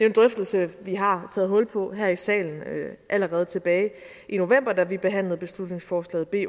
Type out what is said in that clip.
en drøftelse vi har taget hul på her i salen allerede tilbage i november da vi behandlede beslutningsforslag b